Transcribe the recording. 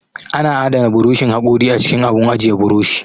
Ana adana buroshin haƙori a cikin abun ajiye buroshi